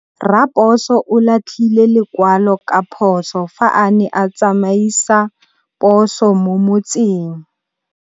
Raposo o latlhie lekwalô ka phosô fa a ne a tsamaisa poso mo motseng.